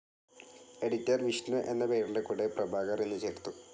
Editor, Vishnu എന്ന പേരിൻ്റെ കൂടെ പ്രഭാകർ എന്ന് ചേർത്തു.